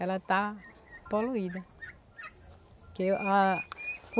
Ela está poluída. Que a